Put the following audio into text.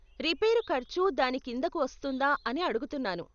Repair ఖర్చు దాని కిందకు వస్తుందా అని అడుగుతున్నాను.